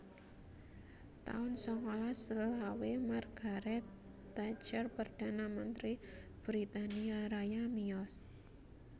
taun sangalas selawe Margaret Thatcher Perdana Mentri Britania Raya miyos